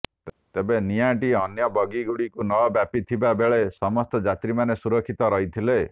ତେବେ ନିଆଁଟି ଅନ୍ୟ ବଗିଗୁଡିକକୁ ନ ବ୍ୟାପିଥିବା ବେଳେ ସମସ୍ତ ଯାତ୍ରୀମାନେ ସୁରକ୍ଷିତ ରହିଥିଲେ